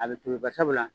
A bɛ tobi barisabula